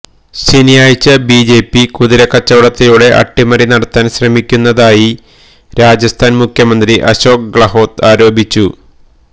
ശനിയാഴ്ച ബിജെപി കുതിരക്കച്ചവടത്തിലൂടെ അട്ടിമറി നടത്താന് ശ്രമിക്കുന്നതായി രാജസ്ഥനാന് മുഖ്യമന്ത്രി അശോക് ഗഹ്ലോത് ആരോപിച്ചിരുന്നു